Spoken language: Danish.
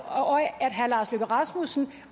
af at herre lars løkke rasmussen